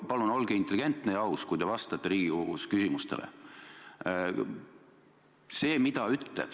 Palun olge intelligentne ja aus, kui te vastate Riigikogus küsimustele!